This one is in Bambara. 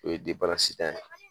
O ye tan ye